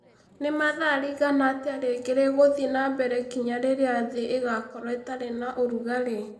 nĩ mathaa rĩigana atĩa rĩngĩ rĩgũthiĩ na mbere nginya rĩrĩa thĩ ĩgaakorũo ĩtarĩ na ũrugarĩ